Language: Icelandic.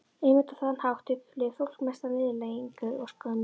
Einmitt á þann hátt upplifir fólk mesta niðurlægingu og skömm.